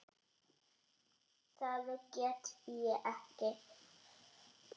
Það get ég ekki